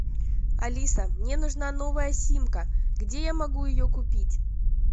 алиса мне нужна новая симка где я могу ее купить